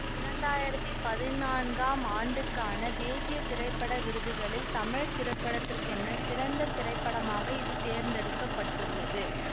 இரண்டாயிரத்தி பதினான்காம் ஆண்டுக்கான தேசிய திரைப்பட விருதுகளில் தமிழ் திரைப்படத்திற்கான சிறந்த திரைப்படமாக இது தேர்ந்தெடுக்கப்பட்டுள்ளது